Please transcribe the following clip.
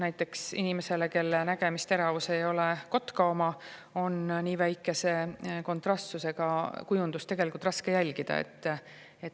Näiteks inimesel, kelle nägemisteravus ei ole kotka oma, on nii väikese kontrastsusega kujundust tegelikult raske jälgida.